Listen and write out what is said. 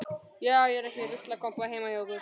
Já, er ekki ruslakompa heima hjá ykkur.